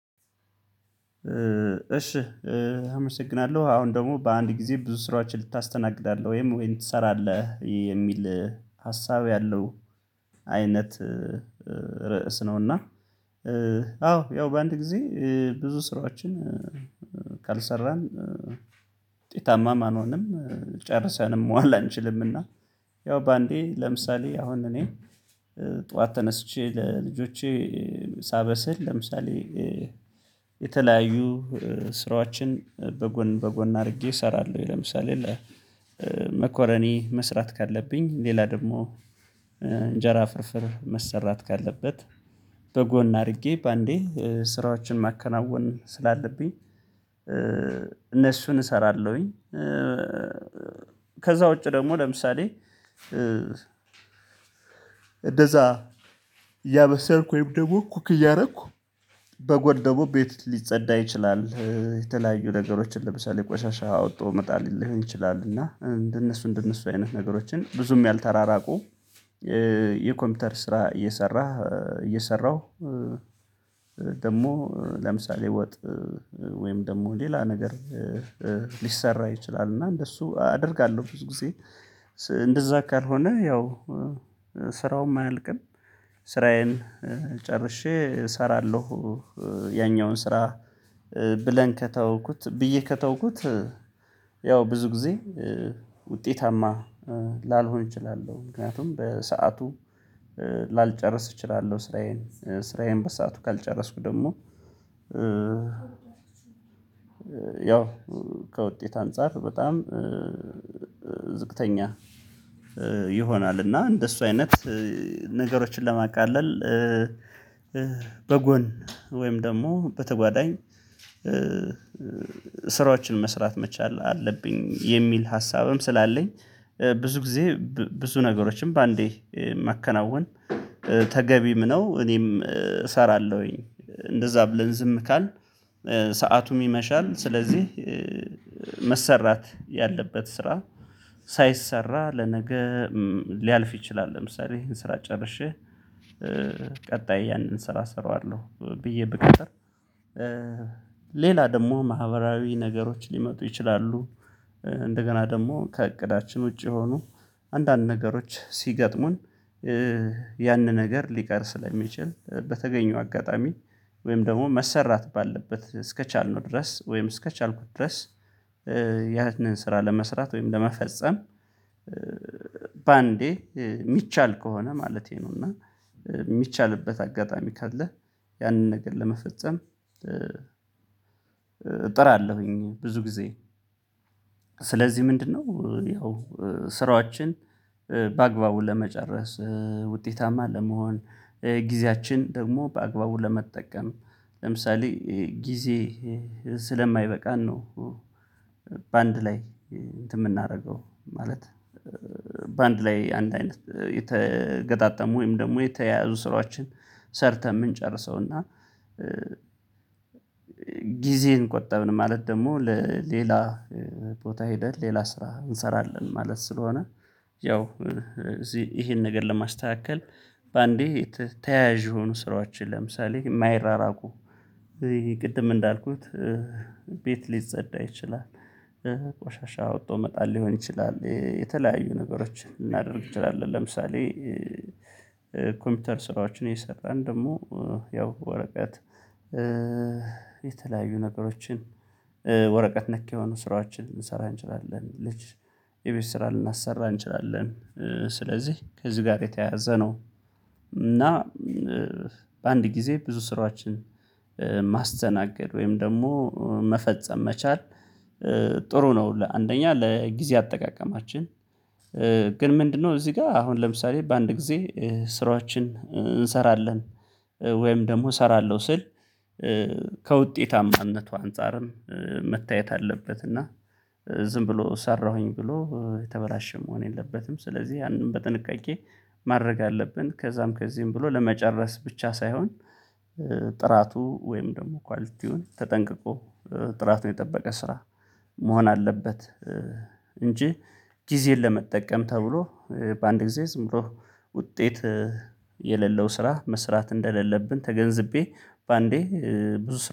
እሺ አመሰግናለሁ አሁን ደግሞ በአንድ ጊዜ ብዙ ስራዎችን ልታስተናግዳለህ ወይም ወይን ትሰራለህ የሚል ሀሳብ ያለው አይነት ርዕስ ነውና? አዎ ያው በአንድ ጊዜ ብዙ ስራዎችን ካልሰራን ትርፋማም አንሆንም ጨርሰንም መዋል አንችልምና። ያው በአንዴ ለምሳሌ አሁን እኔ ጠዋት ተነስቼ ለልጆቼ ሳበስል ለምሳሌ የተለያዩ ስራዎችን በጎን በጎን አድርጌ እሰራለሁ ለምሳሌ መኮረኒ መስራት ካለብኝ ሌላ ደግሞ እንጀራ ፍርፍር መሰራት ካለበት በጎን አድርጌ በአንዴ ስራዎችን ማከናወን ስላለብኝ እነሱን እሰራለሁኝ። ከዛ ውጪ ደግሞ ለምሳሌ እንደዛ እያበሰርኩ ወይም ደግሞ እኮ እያደረኩ በጎን ደግሞ ቤት ሊጸዳ ይችላል የተለያዩ ነገሮችን ለምሳሌ ቆሻሻ አወጣ ሊሆን ይችላል እና እንደነሱ እንደነሱ አይነት ነገሮችን ብዙም ያልተራራቁ የኮምፒውተር ስራ እየሰራህ እየሰራሁ። ደግሞ ለምሳሌ ወጥ ወይም ደግሞ ሌላ ነገር ይችላል እና እንደሱ አደርጋለሁ ብዙ ጊዜ እንደዛ ከሆነ ያው ስራውም አያልቅም ስራዬን ጨርሼ እሰራለሁ። ያኛውን ስራ ብለን ከተውኩት ብዬ ከተውኩት ያው ብዙ ጊዜ ውጤታማ ላልሆን እችላለሁ ምክንያቱም በሰአቱ ላልጨርስ እችላለሁ ስራዬን ስራዬን በሰአቱ ካልጨረስኩ ደግሞ ያው ከውጤት አንፃር በጣም ዝቅተኛ ይሆናል። እና እንደሱ አይነት ነገሮችን ለማቃለል በጎን ወይም ደግሞ በተጓዳኝ ስራዎችን መስራት መቻል አለብኝ የሚል ሀሳብም ስላለኝ ብዙ ጊዜ ብዙ ነገሮችን በአንዴ መከናወን ተገቢም ነው እኔም እሰራለሁኝ። እንደዛ ብለን ዝም ካልን ሰአቱም ይመሻል ስለዚህ ያለበት ስራ ሳይሰራ ለነገ ሊያልፍ ይችላል ለምሳሌ ይሄን ስራ ጨርሼ ቀጣይ ያንን ስራ እሰራዋለሁ ብዬ ብቀጥር ሌላ ደግሞ ማህበራዊ ነገሮች ሊመጡ ይችላሉ። እንደገና ደግሞ ከእቅዳችን ውጪ የሆኑ አንዳንድ ነገሮች ሲገጥሙን ያን ነገር ሊቀር ስለሚችል በተገኘው አጋጣሚ ወይም ደግሞ መሰራት ባለበት እስከቻልነው ድረስ ወይም እስከቻልኩት ድረስ ስራ ለመስራት ወይም ለመፈጸም በአንዴ የሚቻል ከሆነ ማለቴ ነው። እና የሚቻልበት አጋጣሚ ካለ ያንን ነገር ለመፈጸም እጥራለሁኝ ብዙ ጊዜ ስለዚህ ምንድነው? ያው ስራዎቻችን በአግባቡ ለመጨረስ ውጤታማ ለመሆን ጊዜያችን ደግሞ በአግባቡ ለመጠቀም ለምሳሌ ጊዜ ስለማይበቃን ነው። ላይ እንትን የምናደርገው ማለት በአንድ ላይ አንድ አይነት የተገጣጠሙ ወይም ደግሞ የተያዙ ስራዎችን ሰርተን የምንጨርሰው እና ጊዜን ቆጠብን ማለት ደግሞ ለሌላ ቦታ ሄደን ሌላ ስራ እንሰራለን ማለት ስለሆነ። ያው እዚህ ይሄን ነገር ለማስተካከል በአንዴ ተያያዥ የሆኑ ስራዎችን ለምሳሌ ማይራራቁ ቅድም እንዳልኩት ቤት ሊጸዳ ይችላል ቆሻሻ አውጥቶ መጣል ሊሆን ይችላል የተለያዩ ነገሮችን ልናደርግ ይችላል ለምሳሌ ኮምፒውተር ስራዎችን እየሰራን ደግሞ ያው ወረቀት የተለያዩ ነገሮችን ወረቀት ነክ የሆኑ ስራዎችን ልንሰራ እንችላለን ልጅ የቤት ስራ ልናሰራ እንችላለን ስለዚህ ከዚህ ጋር የተያያዘ ነው። እና በአንድ ጊዜ ብዙ ስራችን ማስተናገድ ወይም ደግሞ መፈጸም መቻል ጥሩ ነው። ለአንደኛ ለጊዜ አጠቃቀማችን ግን ምንድነው እዚህ ጋር አሁን ለምሳሌ በአንድ ጊዜ ስራዎችን እንሰራለን ወይም ደግሞ እሰራለሁ ስል ከውጤታማነቱ አንፃርም መታየት አለበት እና ዝም ብሎ ሰራሁኝ ብሎ የተበላሸ መሆን የለበትም ስለዚህ ያንን በጥንቃቄ ማድረግ አለብን ከዛም ከዚህም ብሎ ለመጨረስ ብቻ ሳይሆን ጥራቱ ወይም ደግሞ ኳሊቲውን ተጠንቅቆ ጥራቱን የጠበቀ ስራ መሆን አለበት። እንጂ ጊዜን ለመጠቀም ተብሎ በአንድ ጊዜ ዝም ብሎ ውጤት የሌለው ስራ መስራት እንደሌለብን ተገንዝቤ በአንዴ ብዙ